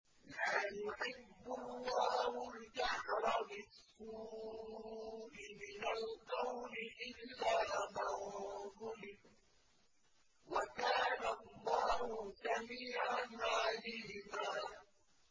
۞ لَّا يُحِبُّ اللَّهُ الْجَهْرَ بِالسُّوءِ مِنَ الْقَوْلِ إِلَّا مَن ظُلِمَ ۚ وَكَانَ اللَّهُ سَمِيعًا عَلِيمًا